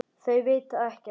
Þau vita ekkert.